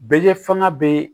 Bɛ kɛ fanga bɛ